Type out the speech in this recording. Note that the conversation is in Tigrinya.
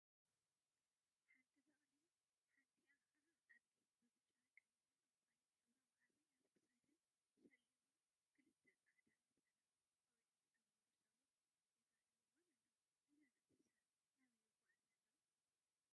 ሓንቲ በቅሊ ሓንቲአ ከዓ አድጊ ብብጫ፣ ቀይሕን ዕንቋይን ሕብራዊ ሃሪ አብ ክሳደን ሸሊሞም ክልተ ፃዕዳ ነፀላን ቆቢዕን ዝገበሩ ሰብኡት የጋልብወን አለው፡፡ እዘን እንስሳ ናበይ ይጓዓዛ አለዋ?